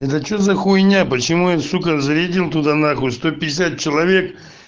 это что за хуйня почему я сука зарядил туда нахуй сто пятьдесят человек